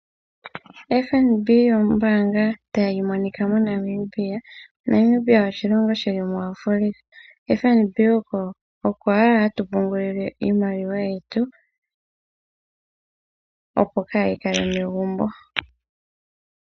FNB ombaanga ta yi adhika moNamibia. Namibia oshilongo shili mu Afrika. Ko FNB oko ashike hatu pungulile iimaliwa yetu opo kaayikale momagumbo.